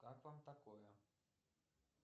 как вам такое